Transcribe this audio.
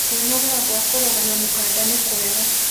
Kwĩnogora gwa kũrũga na mũkanda nĩkwega